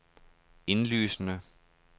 indlysende